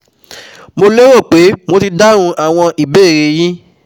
Mo lérò pé mo ti dáhùn àwọn ìbéèrè e yín